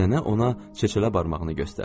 Nənə ona çeçələ barmağını göstərdi.